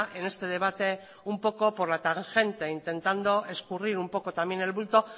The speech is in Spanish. en este debate un poco por la tangente intentando escurrir un poco también el bulto